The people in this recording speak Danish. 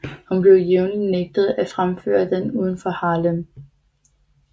Hun blev jævnlig nægtet at fremføre den uden for Harlem